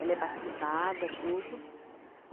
Ela é batizada, tudo.